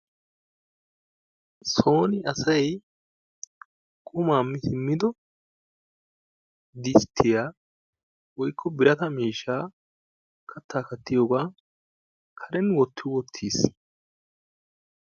Soon asay qumaa mi siimmido disttiya woykko birata miishshaa kattaa kattiyoogaa karen wotti wottiis.